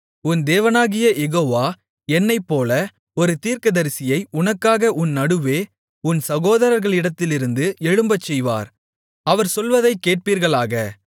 உன் தேவனாகிய யெகோவா என்னைப்போல ஒரு தீர்க்கதரிசியை உனக்காக உன் நடுவே உன் சகோதரர்களிடத்திலிருந்து எழும்பச்செய்வார் அவர் சொல்வதைக் கேட்பீர்களாக